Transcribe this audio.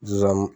Zonzani